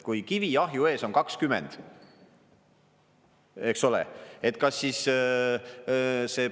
Kui kivi ahju ees on 20, eks ole, et kas siis see …